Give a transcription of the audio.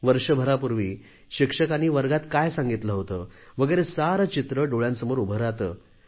वर्षभरापूर्वी शिक्षकांनी वर्गात काय सांगितले होते वगैरे सारे चित्र डोळ्यांसमोर उभे राहते